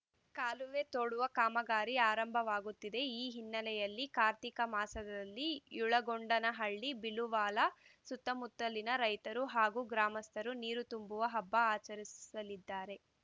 ಕಾಲುವೆ ತೋಡುವ ಕಾಮಗಾರಿ ಆರಂಭವಾಗುತ್ತಿದೆ ಈ ಹಿನ್ನೆಲೆಯಲ್ಲಿ ಕಾರ್ತಿಕ ಮಾಸದಲ್ಲಿ ಯಳಗೊಂಡನಹಳ್ಳಿ ಬಿಳುವಾಲ ಸುತ್ತಮುತ್ತಲಿನ ರೈತರು ಹಾಗೂ ಗ್ರಾಮಸ್ಥರು ನೀರು ತುಂಬುವ ಹಬ್ಬ ಆಚರಿಸಲಿದ್ದಾರೆ